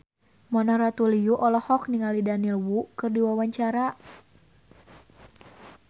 Mona Ratuliu olohok ningali Daniel Wu keur diwawancara